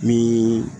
Ni